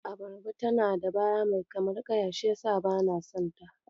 Abarba tana da baya mai kamar ƙaya shi yasa bana son ta.